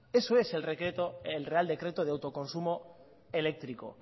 eso es el real decreto de autoconsumo eléctrico